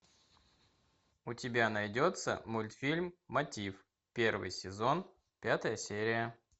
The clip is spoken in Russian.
у тебя найдется мультфильм мотив первый сезон пятая серия